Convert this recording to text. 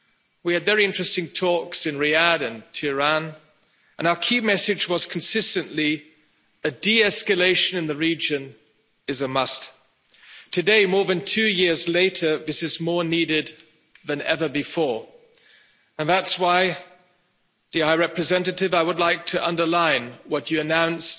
We had very interesting talks in Riyadh and Tehran and our key message was consistently a de-escalation in the region is a must. Today, more than two years later, this is more needed than ever before and that's why, dear High Representative, I would like to underline what you announced